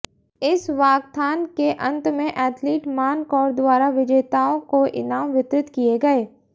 इस वाकथान के अंत में अैथलीट मान कौर द्वारा विजेताओं को इनाम वितरित किए गए